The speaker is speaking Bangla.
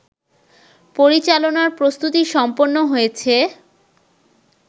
পরিচালনার প্রস্তুতি সম্পন্ন হয়েছে